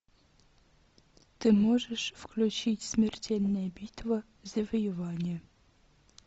ты можешь включить смертельная битва завоевание